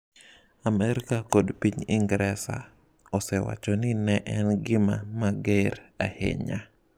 Amerka kod piny Ingresa osewacho ni ne en "gima mager ahinya".